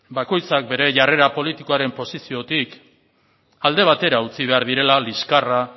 bakoitzak bere jarrera politikoaren posiziotik alde batera utzi behar direla liskarra